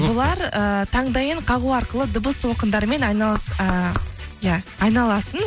бұлар ыыы таңдайын қағу арқылы дыбыс толқындарымен ыыы иә айналасын